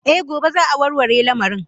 Eh gobe za'a warware lamarin.